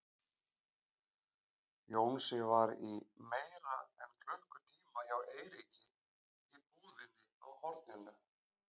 Jónsi var í meira en klukkutíma hjá Eiríki í búðinni á horninu.